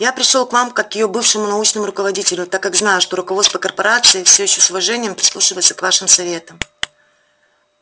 я пришёл к вам как к её бывшему научному руководителю так как знаю что руководство корпорации все ещё с уважением прислушивается к вашим советам